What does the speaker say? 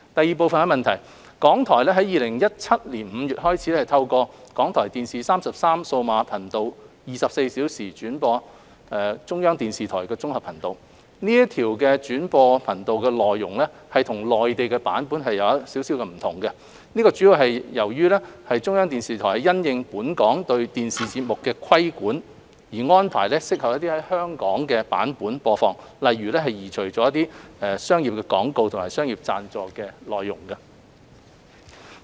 二港台於2017年5月開始透過港台電視33數碼頻道24小時轉播中國中央電視台綜合頻道，這條轉播頻道的內容與內地版本有所不同，主要由於中央電視台是因應本港對電視節目的規管而安排適合在香港的版本播放，例如移除了商業廣告和商業贊助的內容。